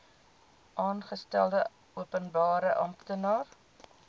aangestelde openbare amptenaar